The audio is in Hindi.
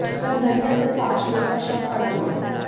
तब घर के अंदर पांच लोग का शव पडा मिला